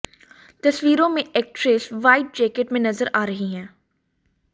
तस्वीरों में actress white jacket में नजर आ रही है